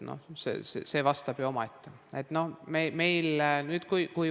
See on ju omaette vastus.